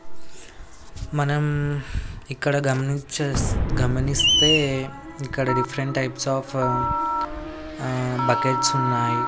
మనం ఇక్కడ గమనిచేస్ గమనిస్తే ఇక్కడ different types of uh buckets ఉన్నాయి.